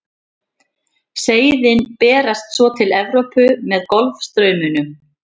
seiðin berast svo til evrópu með golfstraumnum